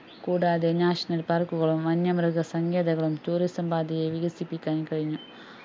കൂടാതെ national park കളും വന്യമൃഗ സങ്കേതങ്ങളു tourism പാതയെ വികസിപ്പിക്കാന്‍ കഴിഞ്ഞു